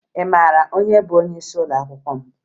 Ị mara onye bụ onyeisi ụlọakwụkwọ m?